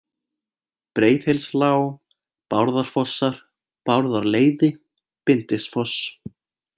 Breiðhylslág, Bárðarfossar, Bárðarleiði, Bindisfoss